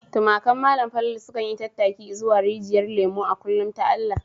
Tumakan Malam Falalu sukan yi tattaki izuwa Rijyar Lemo a kullum ta Allah.